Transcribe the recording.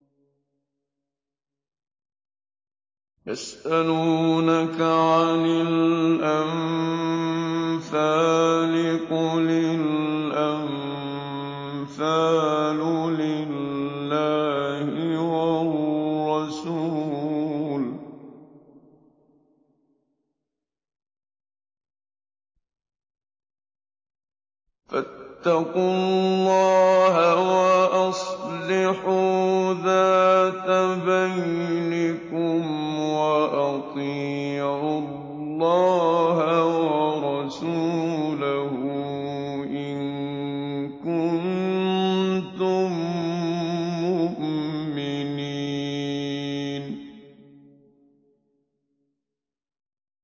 يَسْأَلُونَكَ عَنِ الْأَنفَالِ ۖ قُلِ الْأَنفَالُ لِلَّهِ وَالرَّسُولِ ۖ فَاتَّقُوا اللَّهَ وَأَصْلِحُوا ذَاتَ بَيْنِكُمْ ۖ وَأَطِيعُوا اللَّهَ وَرَسُولَهُ إِن كُنتُم مُّؤْمِنِينَ